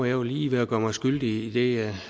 jo lige ved at gøre mig skyldig i det jeg